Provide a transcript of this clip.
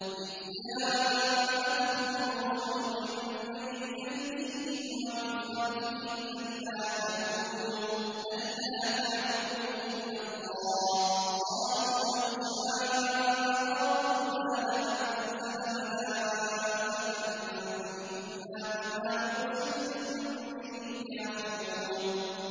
إِذْ جَاءَتْهُمُ الرُّسُلُ مِن بَيْنِ أَيْدِيهِمْ وَمِنْ خَلْفِهِمْ أَلَّا تَعْبُدُوا إِلَّا اللَّهَ ۖ قَالُوا لَوْ شَاءَ رَبُّنَا لَأَنزَلَ مَلَائِكَةً فَإِنَّا بِمَا أُرْسِلْتُم بِهِ كَافِرُونَ